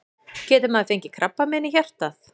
Getur maður fengið krabbamein í hjartað?